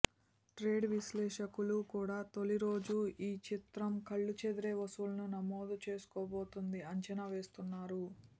trade విశ్లేషకులు కూడా తొలి రోజు ఈ చిత్రం కళ్ళు చెదిరే వసూళ్ళని నమోదు చేసుకోబోతోంది అంచనా వేస్తున్నారు